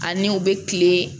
Ani u bɛ kile